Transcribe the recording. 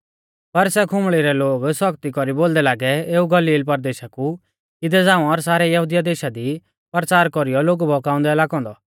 पर सै खुंबल़ी रै लोग सौख्ती कौरी बोलदै लागै एऊ गलील परदेशा कु इदै झ़ांऊ और सारै यहुदिया देशा दी परचार कौरीयौ लोगु बहकाउंदै लागौ औन्दौ